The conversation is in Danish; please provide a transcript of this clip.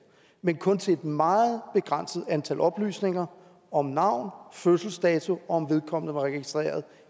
men kun til et meget begrænset antal oplysninger om navn fødselsdato og om vedkommende var registreret